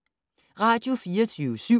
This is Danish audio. Radio24syv